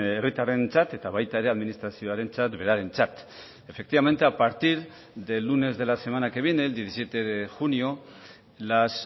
herritarrentzat eta baita ere administrazioarentzat berarentzat efectivamente a partir del lunes de la semana que viene el diecisiete de junio las